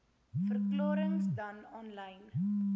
verklarings dan aanlyn